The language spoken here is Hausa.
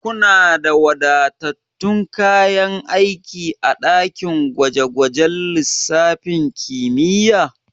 Kuna da wadatattun kayan aiki a daki gwaje gwajen lissafin kimiyya?